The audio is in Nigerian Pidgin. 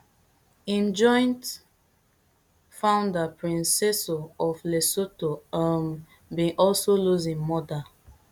im joint founder prince seeiso of lesotho um bin also lose im mother